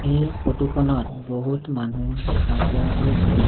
এই ফটো খনত বহুত মানুহ দেখা পোৱা গৈছে।